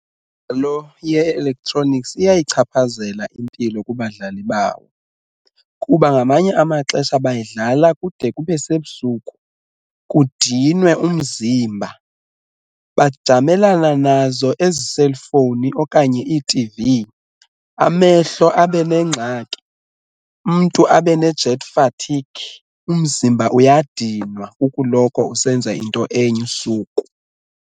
Lo ye-electronics iyayichaphazela impilo kubadlali bawo, kuba ngamanye amaxesha bayidlala kude kube sebusuku kudinwe umzimba, bajamelana nazo ezi selifowuni okanye iitivi amehlo abe nengxaki umntu abe ne-jet fatigue. Umzimba uyadinwa kukuloko usenza into enye usuku.